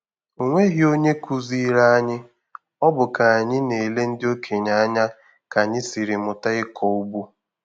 O nweghi onye kụziiri anyị, ọ bụ ka anyị na-ele ndị okenye anya ka anyị siri mụta ịkọ ụgbọ.